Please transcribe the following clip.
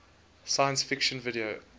science fiction video